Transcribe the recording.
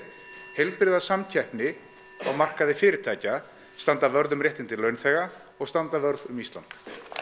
heilbrigða samkeppni á markaði fyrirtækja standa vörð um réttindi launþega og standa vörð um Ísland